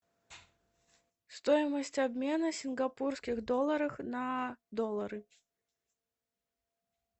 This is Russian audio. стоимость обмена сингапурских долларов на доллары